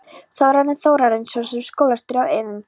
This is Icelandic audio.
Þórarinn Þórarinsson, síðar skólastjóri á Eiðum.